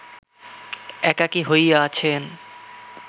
একাকী হইয়া আছেন